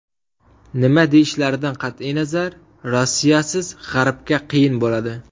Nima deyishlaridan qat’iy nazar, Rossiyasiz G‘arbga qiyin bo‘ladi.